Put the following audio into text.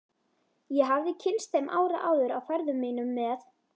Ég hafði kynnst þeim ári áður á ferðum mínum með